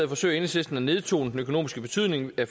forsøger enhedslisten at nedtone den økonomiske betydning af